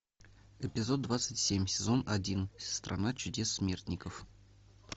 эпизод двадцать семь сезон один страна чудес смертников